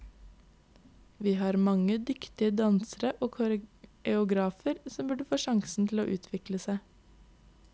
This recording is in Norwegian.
Vi har mange dyktige dansere og koreografer som burde få sjansen til å utvikle seg.